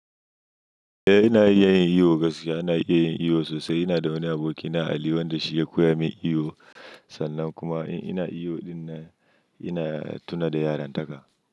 Eh, ina iya yin iyo gaskiya. Ina iya yin iyo sosai. Ina da wani aboki na ali wanda shi ya koya min iyo. Sannan kuma in ina iyo ɗin na, ina tuna da yarantaka.